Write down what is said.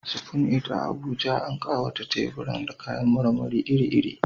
Spoon It a Abuja, an ƙawata teburan da kayan marmari iri-iri.